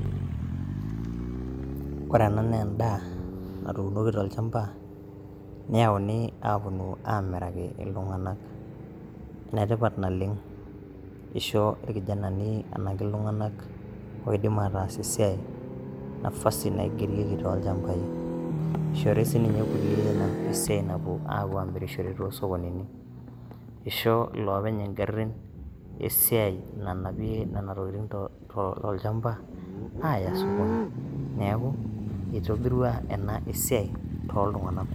Kore ena naa endaa, na tuunoki tolchamba neyauni apuonu aamiraki iltung'anak. Enetipat naleng eishoo, ilkijanani anakiltung'anak oidim ataas esiai nafasi naigerieki toolchambai. Eishori sii kuliek esiai napuo amirishore too sokonini. Eishoo iloopeny ingarin esiai nanapie inena tokitin tolchamba aya sokoni. Neaku eitobirua ena esiai tooltung'anak kumok.